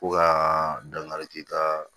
Fo ka dankari kɛ